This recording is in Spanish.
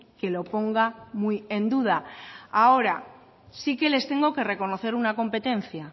que lo ponga muy en duda ahora sí que les tengo que reconocer una competencia